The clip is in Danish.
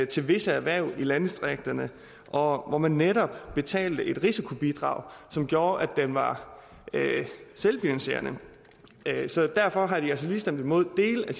til visse erhverv i landdistrikterne og hvor man netop betalte et risikobidrag som gjorde at den var selvfinansierende derfor har de altså lige stemt imod dele af